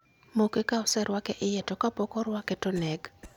Moke ka oserwake iye to kapok orwake to neg